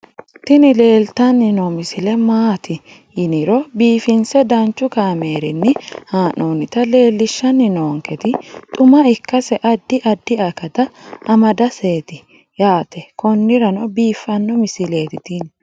tini leeltanni noo misile maaati yiniro biifinse danchu kaamerinni haa'noonnita leellishshanni nonketi xuma ikkase addi addi akata amadaseeti yaate konnira biiffanno misileeti tini